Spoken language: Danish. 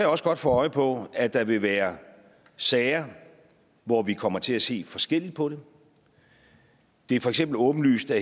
også godt få øje på at der vil være sager hvor vi kommer til at se forskelligt på det det er for eksempel åbenlyst at